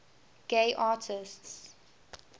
gay artists